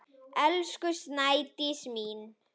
Elsku Snædís mín.